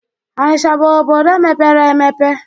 Onicha bụ obodo mepere emepe